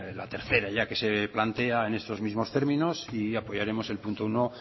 la tercera ya que se plantea en estos mismos términos y apoyaremos el punto uno